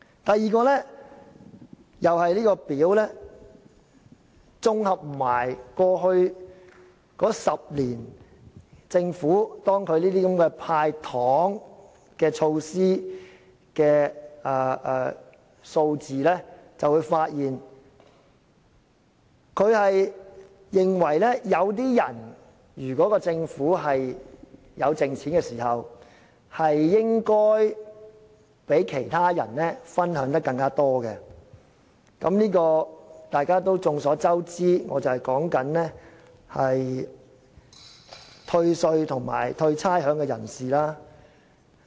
第二，綜合過去10年政府"派糖"措施的數字便會發現，如果政府有盈餘時，有些人應該較其他人分享得更多——眾所周知，我說的正是獲得退稅和退差餉的人士。